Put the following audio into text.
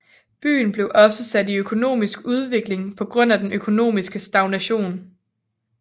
Byen blev også sat tilbage i udvikling på grund af den økonomiske stagnation